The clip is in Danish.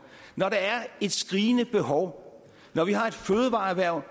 når der er et skrigende behov når vi har et fødevareerhverv